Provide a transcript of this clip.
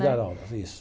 Dar aulas, isso.